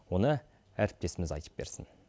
оны әріптесіміз айтып берсін